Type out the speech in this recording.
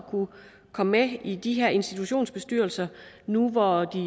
komme med i de her institutionsbestyrelser nu hvor de